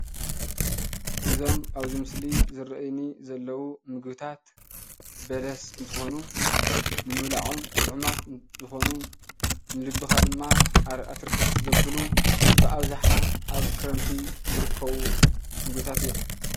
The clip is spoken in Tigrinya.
እዞም ኣብዚ ምስሊ ዝረአዩኒ ዘለዉ ምግብታት በለስ እንትኾኑ ንምብልዖም ጥዑማት እንትኾኑ ንልብኻ ድማ ኣር ኣትርክስ ዘብሉ ብኣብዝሓ ኣብ ክረምቲ ዝርከቡ ምግብታት እዮም፡፡